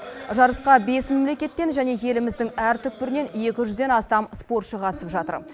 жарысқа бес мемлекеттен және еліміздің әр түкпірінен екі жүзден астам спортшы қатысып жатыр